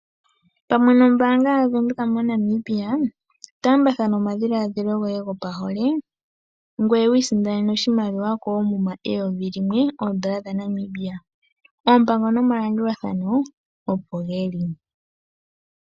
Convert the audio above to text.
Pamwe nombaanga ya Venduka moNambia taambathana omadhiladhilo goye gopahole, ngoye wu isindanene oshimaliwa koomuma oondola dha Namibia eyovi limwe, oompango nomalandulathano opo dhili.